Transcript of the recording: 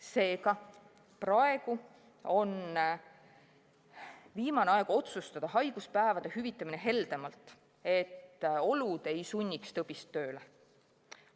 Seega, praegu on viimane aeg otsustada haiguspäevade hüvitamine heldemalt, et olud ei sunniks tõbist tööle.